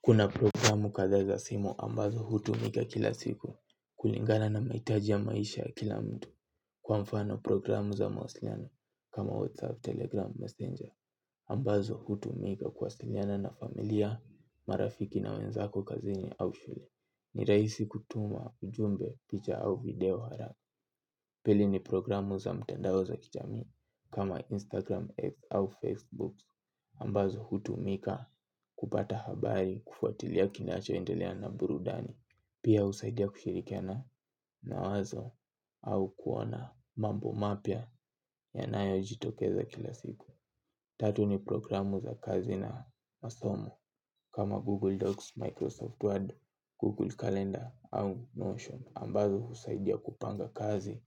Kuna programu kathaa za simu ambazo hutumika kila siku kulingana na maitaji ya maisha ya kila mtu kwa mfano programu za mawasiliano kama WhatsApp, Telegram, Messenger ambazo hutumika kuwasiliana na familia, marafiki na wenzako kazini au shule. Ni raisi kutuma ujumbe picha au video hara. Pili ni programu za mtandao za kijamii. Kama Instagram, X au Facebook Ambazo hutumika kupata habari kufuatilia kinachoendelea na burudani pia husaidia kushirikiana na wazo au kuona mambo mapya yanayojitokeza kila siku. Tatu ni programu za kazi na masomo. Kama Google Docs, Microsoft Word, Google Calendar au Notion Ambazo husaidia kupanga kazi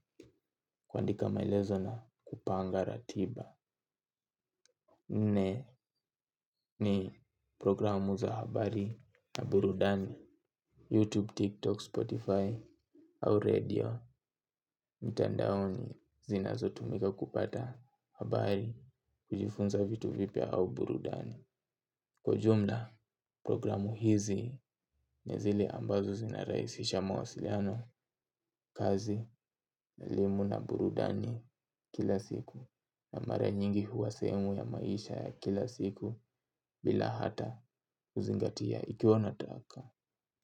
kuandika maelezo na kupanga ratiba. Nne ni programu za habari na burudani YouTube, TikTok, Spotify au radio mitandaoni zinazotumika kupata habari kujifunza vitu vipya au burudani. Kwa ujumla programu hizi ni zili ambazo zinaraisisha mawasiliano kazi elimu na burudani kila siku na mara nyingi huwa sehemu ya maisha ya kila siku bila hata kuzingatia ikiwa nataka.